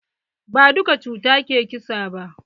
Ba duka cuta ke ƙisa ba.